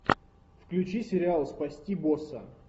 включи сериал спасти босса